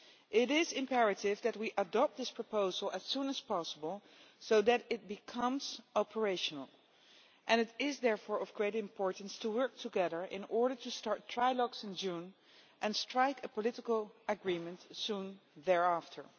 It is imperative that we adopt this proposal as soon as possible so that it becomes operational and it is therefore of great importance to work together in order to start trilogues in June and strike a political agreement soon thereafter.